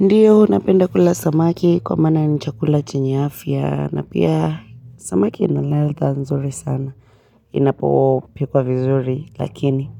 Ndiyo napenda kula samaki kwa maana ni chakula chenye afya na pia samaki ina ladha nzuri sana inapopikwa vizuri lakini